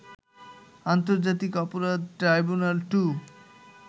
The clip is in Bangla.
আন্তর্জাতিক অপরাধ ট্রাইব্যুনাল ২